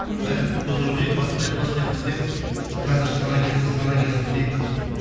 мхм бәріміз күтіп отырмыз ей бастайық бастайық десе қазір сана келсін сана келсін дейді